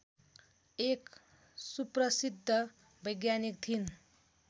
एक सुप्रसिद्ध वैज्ञानिक थिइन्